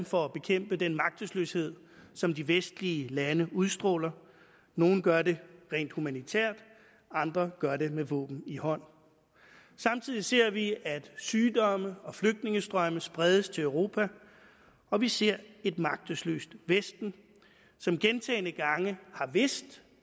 for at bekæmpe den magtesløshed som de vestlige lande udstråler nogle gør det rent humanitært andre gør det med våben i hånd samtidig ser vi at sygdomme og flygtningestrømme spredes til europa og vi ser et magtesløst vesten som gentagne gange har vidst